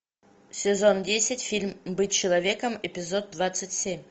сезон десять фильм быть человеком эпизод двадцать семь